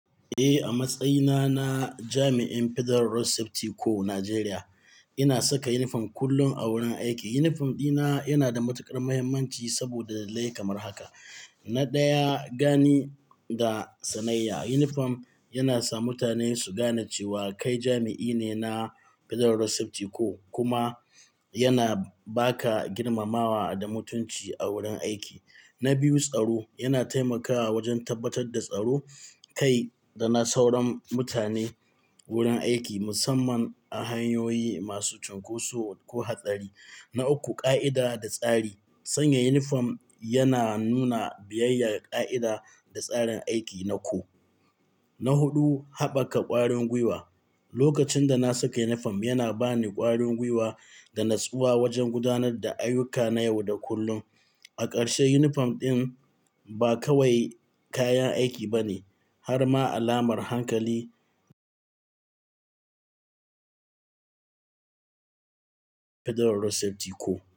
Eh, a matsayina na jami'in Federal Road Safety Corps Najeriya, ina saka inifom kullum a wurin aiki. Unifom ɗina yana da matuƙar mahimmanci saboda dalilai kamar haka. Na ɗaya, gani ga sanayya. Unifom yana sa mutane su gane cewa kai jami'i ne na Federal Road Safety Corps, kuma yana ba ka girmamawa da mutunci a wurin aiki. Na biyu, tsaro. Yana taimakawa wajen tabbatar da tsaro, kai da na sauran mutane wurin aiki, musamman a hanyoyi masu cunkoso ko hatsari. Na uku, ƙa'ida da tsari. Sanya Unifom, yana nuna biyayyar ƙa'ida da tsarin aiki na kor. Na huɗu, haɓaka ƙwarin gwiwa. Lokacin da na saka unifom, yana ba ni ƙwarin gwiwa da natsuwa wajen gudanar da ayuka na yau da kullum. A ƙarshe, unifom ɗin ba kawai kayan aiki bane har ma alamar hankali Federal Road Safety Corps.